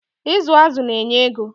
Ịzụ azụ na-enye ego.